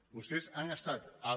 vostès han estat els